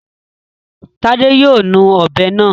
Tádé yóò nu ọ̀bẹ náà.